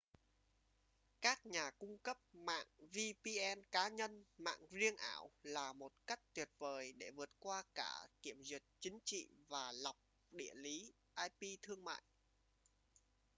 các nhà cung cấp mạng vpn cá nhân mạng riêng ảo là một cách tuyệt vời để vượt qua cả kiểm duyệt chính trị và lọc địa lý ip thương mại